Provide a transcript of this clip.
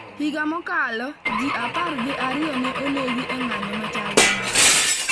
Higa mokalo, ji apar gi ariyo ne onegi e ng'anyo machal gi ma.